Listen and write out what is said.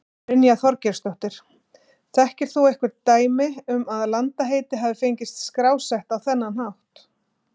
Brynja Þorgeirsdóttir: Þekkir þú einhver dæmi um að landaheiti hafi fengist skrásett á þennan hátt?